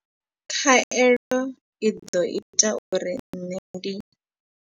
Khaelo i ḓo ita uri nṋe ndi.